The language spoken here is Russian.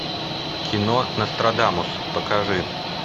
кино нострадамус покажи